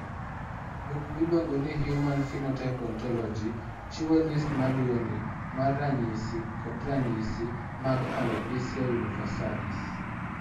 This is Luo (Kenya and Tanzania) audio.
Buk miluongo ni Human Phenotype Ontology chiwo list ma luwoni mar ranyisi kod ranyisi mag Alopecia universalis.